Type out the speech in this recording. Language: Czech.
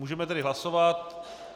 Můžeme tedy hlasovat.